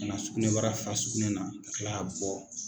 I na sugunɛ bara fa sugunɛ na ka Kila bɔ.